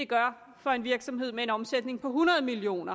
gør for en virksomhed med en omsætning på hundrede million